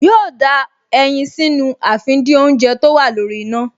Yóò da ẹyin sínú àfìdínoúnjẹ tó wà lórí iná